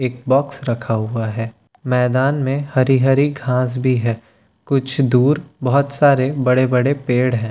एक बॉक्स रखा हुआ है मैदान में हरी हरी घास भी है कुछ दूर बहोत सारे बड़े बड़े पेड़ हैं।